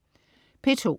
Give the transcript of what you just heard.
P2: